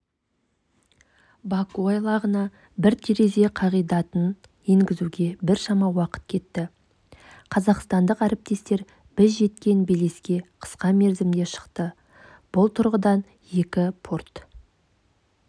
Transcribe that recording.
баку айлағына бір терезе қағидатын енгізуге біршама уақыт кетті қазақстандық әріптестер біз жеткен белеске қысқа мерзімде шықты бұл тұрғыдан екі порт